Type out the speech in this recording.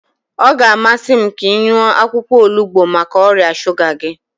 Ọ ga-amasị m ka ị ṅụọ akwụkwọ onugbu maka ọrịa shuga gị.